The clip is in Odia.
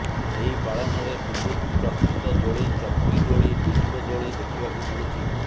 ଏହି ପାଳନରେ ବିଦ୍ୟୁତ୍ ପ୍ରସ୍ତୁତ ଦୋଳି ଚକ୍ରୀ ଦୋଳି ଡିସ୍କୋ ଦୋଳି ଦେଖିବାକୁ ମିଳୁଛି